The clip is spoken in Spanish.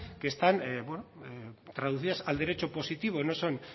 que están bueno traducidas al derecho positivo no son